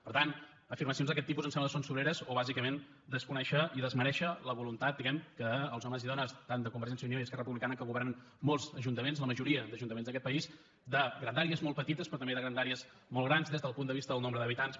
per tant afirmacions d’aquest tipus em sembla que són sobreres o bàsicament desconèixer i desmerèixer la voluntat diguem ne que els homes i dones tant de convergència i unió i esquerra republicana que governen molts ajuntaments la majoria d’ajuntaments d’aquest país de grandàries molt petites però també de grandàries molt grans des del punt de vista del nombre d’habitants